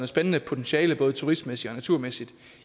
spændende potentiale både turistmæssigt og naturmæssigt